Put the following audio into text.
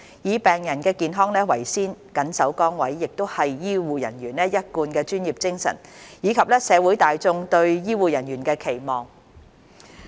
以病人的健康為先、緊守崗位，亦是醫護人員一貫的專業精神，以及社會大眾對醫護人員的期望。